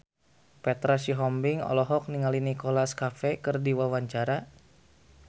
Petra Sihombing olohok ningali Nicholas Cafe keur diwawancara